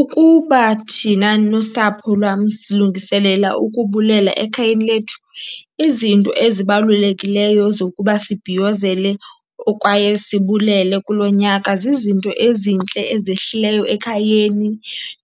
Ukuba thina nosapho lwam silungiselela ukubulela ekhayeni lethu, izinto ezibalulekileyo zokuba sibhiyozele kwaye sibulele kulo nyaka zizinto ezintle ezehlileyo ekhayeni,